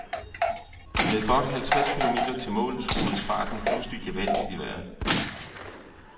Med godt halvtreds kilometer til mål skruedes farten pludselig gevaldigt i vejret.